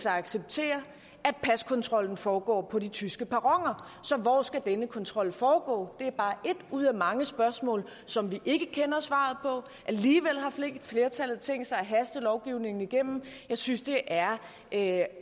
acceptere at paskontrollen foregår på de tyske perroner så hvor skal denne kontrol foregå det er bare ét ud af mange spørgsmål som vi ikke kender svaret på alligevel har flertallet tænkt sig at haste lovgivningen igennem jeg synes det er er